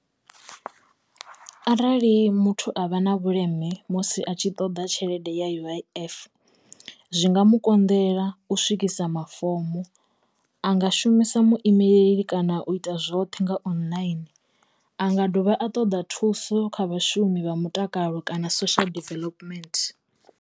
Arali muthu a vha na vhuleme musi a tshi ṱoḓa tshelede ya U_I_F zwi nga mu konḓela u swikisa mafomo a nga shumisa muimeleli kana u ita zwoṱhe nga online a nga dovha a ṱoḓa thuso kha vhashumi vha mutakalo kana social development.